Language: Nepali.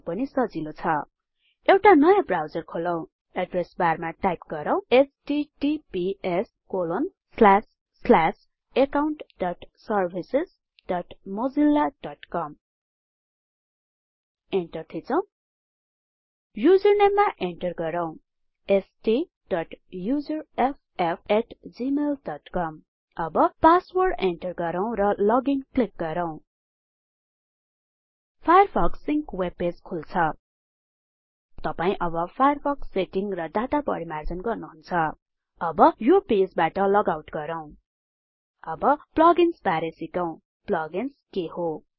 यो पनि सजिलो छ एउटा नयाँ ब्राउजर खोलौ एड्रेस बारमा टाइप गरौhttpsaccountservicesmozillacom इन्टर थिचौ युजरनेममा इन्टर गरौँ STUSERFFgmailcom अब पासवर्ड इन्टर गरौ लगइन क्लिक गरौ फायरफक्स सिंक वेबपेज खुल्छ तपाई अब फायरफक्स सेटिंग र डाटा परिमार्जन गर्नु हुन्छ अब यो पेजबाट लगआउट गरौ अब प्लग इन्स बारे सिकौ plug आइएनएस के हो